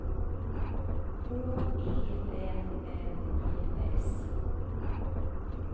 H E N N E S